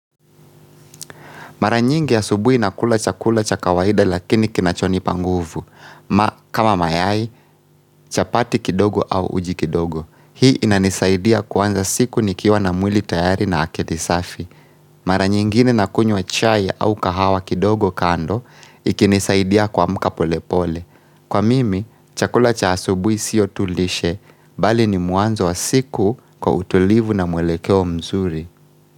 Mara nyingi asubui nakula chakula cha kawaida lakini kinachonipa nguvu. Kama mayai, chapati kidogo au uji kidogo. Hii inanisaidia kuanza siku nikiwa na mwili tayari na akili safi. Mara nyingine nakunywa chai au kahawa kidogo kando, ikinisaidia kuamka pole pole. Kwa mimi, chakula cha asubui sio tu lishe, bali ni mwanzo wa siku kwa utulivu na mwelekeo mzuri.